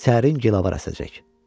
Sərin gilavar əsəcək.